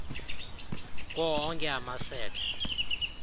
kuwo onke amasebe